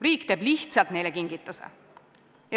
Riik teeb lihtsalt neile kingituse.